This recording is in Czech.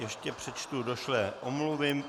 Ještě přečtu došlé omluvy.